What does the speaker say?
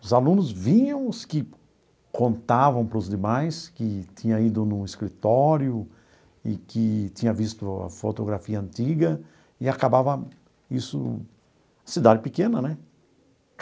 Os alunos vinham, os que contavam para os demais, que tinha ido no escritório e que tinha visto a fotografia antiga, e acabava isso... Cidade pequena, né?